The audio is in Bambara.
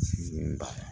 Sini